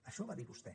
això ho va dir vostè